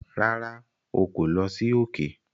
Rárá,o kò lọ sí òkè